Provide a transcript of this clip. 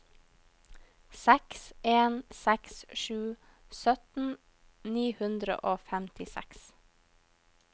seks en seks sju sytten ni hundre og femtiseks